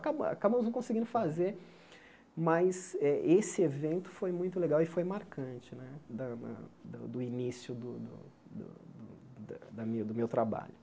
Acaba acabamos não conseguindo fazer, mas eh esse evento foi muito legal e foi marcante né da da do início do do do do do da mi do meu trabalho.